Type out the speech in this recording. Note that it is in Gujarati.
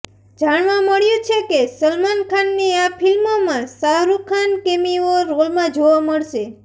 જાણવા મળ્યું છે કે સલમાન ખાનની આ ફિલ્મમાં શાહરુખ ખાન કેમિઓ રોલમાં જોવા મળશે